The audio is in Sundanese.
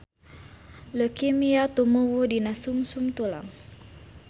Leukemia tumuwuh dina sungsum tulang.